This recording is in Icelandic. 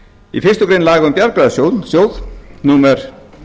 í fyrstu grein laga um bjargráðasjóð númer